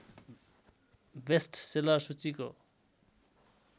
best seller सूचीको